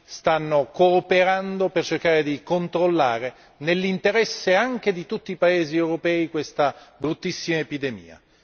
stanno cooperando per cercare di controllare, nell'interesse anche di tutti i paesi europei, questa bruttissima epidemia.